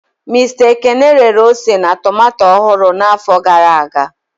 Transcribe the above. Mista Ekene rere ose na tomato ọhụrụ n'afọ gara aga.